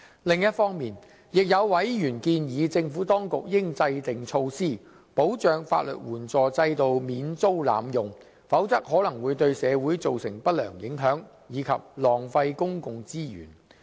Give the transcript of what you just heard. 另一方面，有委員建議政府當局應制訂措施，保障法律援助制度免遭濫用，否則可能會對社會造成不良影響，以及浪費公共資源。